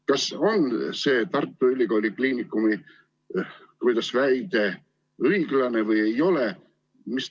Kas see Tartu Ülikooli Kliinikumi kohta väidetu on õige või ei ole?